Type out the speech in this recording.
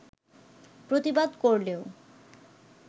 প্রতিবাদ করলেও